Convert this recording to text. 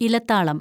ഇലത്താളം